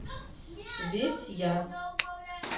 весь я